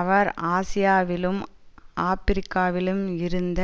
அவர் ஆசியாவிலும் ஆபிரிக்காவிலும் இருந்த